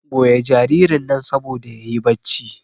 goya jaririn nan saboda yayi bacci